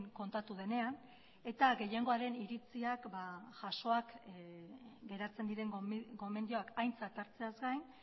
kontatu denean eta gehiengoaren iritziak jasoak geratzen diren gomendioak aintzat hartzeaz gain